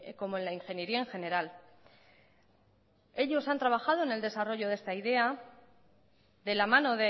como en la ingeniería en general ellos han trabajado en el desarrollo de esta idea de la mano